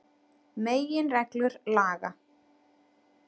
Meginreglur laga.